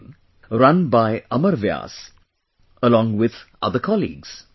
in', run by Amar Vyas, along with other colleagues